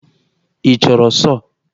Ị chọrọ sọọ?